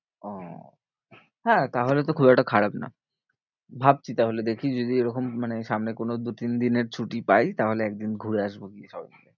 ওহ হ্যাঁ তাহলে তো খুব একটা খারাপ না। ভাবছি তাহলে দেখি যদি এরকম মানে সামনে কোনো দু তিন দিনের ছুটি পাই তাহলে একদিন ঘুরে আসবো গিয়ে সবই।